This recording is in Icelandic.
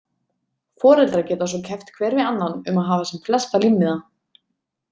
Foreldrar geta svo keppt hver við annan um að hafa sem flesta límmiða.